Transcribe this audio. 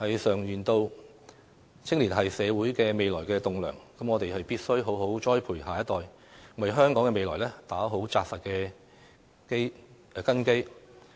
常言道，青年是社會未來的棟樑，我們必須好好栽培下一代，為香港的未來打好扎實的根基。